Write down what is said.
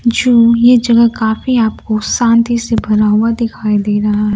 जो ये जगह काफी आपको शांति से भरा हुआ दिखाई दे रहा--